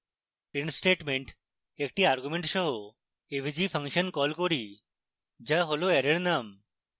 print statement একটি argument সহ avg function call করি যা হল অ্যারের name